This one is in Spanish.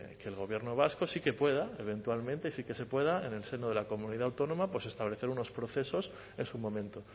que el gobierno vasco sí que pueda eventualmente sí que se pueda en el seno de la comunidad autónoma establecer unos procesos en su momento